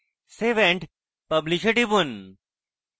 save and publish এ টিপুন